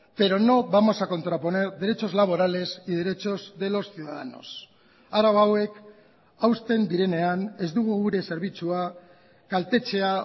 pero no vamos a contraponer derechos laborales y derechos de los ciudadanos arau hauek hausten direnean ez dugu gure zerbitzua kaltetzea